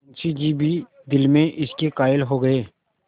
मुंशी जी भी दिल में इसके कायल हो गये